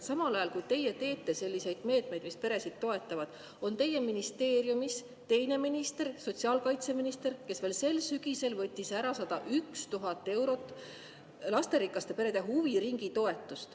Samal ajal, kui teie teete selliseid meetmeid, mis peresid toetavad, on teie ministeeriumis teine minister, sotsiaalkaitseminister, kes veel sel sügisel võttis ära 101 000 eurot lasterikaste perede huviringitoetust.